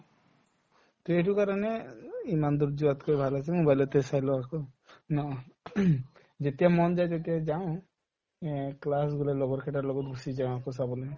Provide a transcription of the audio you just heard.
to এইটো কাৰণে অ ও ইমান দূৰ যোৱাতকে ভাল আছে mobile তে চাই লও আকৌ ন যেতিয়া মন তেতিয়াই যাওঁ এই class লগৰকেইটাৰ লগত গুচি যাওঁ আকৌ চাবলে